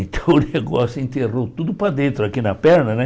Então o negócio enterrou tudo para dentro, aqui na perna.